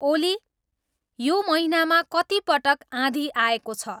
ओली यो महिनामा कतिपटक आँधी आएको छ